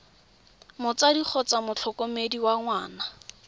motsadi kgotsa motlhokomedi wa ngwana